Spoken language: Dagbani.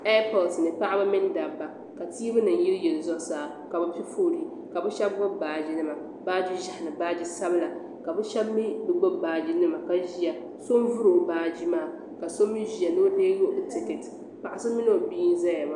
Ɛeepoti ni paɣaba mini dabba ka tiivinima yiliyili zuɣu saa ka bɛ piɛ fuulii ka bɛ shɛbi gbubi baaginima baagi ʒihi ni baagi sabila ka bɛ shɛbi mi gbubi baaginima ka ʒiya so n vuri o baagi maa ka so mi ʒiya ni o deei o tikiti paɣa so mini o bia n ʒiya maa.